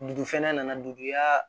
Dugu fɛnɛ nana dugu i ka